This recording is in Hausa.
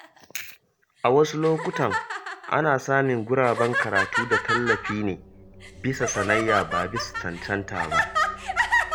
A wasu lokuta, ana samun guraben karatu da tallafi ne bisa sanayya, ba bisa cancanta ba.